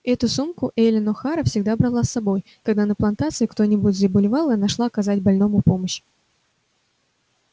эту сумку эллин охара всегда брала с собой когда на плантации кто-нибудь заболевал и она шла оказать больному помощь